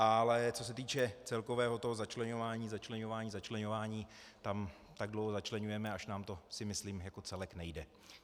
Ale co se týče celkového toho začleňování, začleňování, začleňování, tam tak dlouho začleňujeme, až nám to, si myslím, jako celek nejde.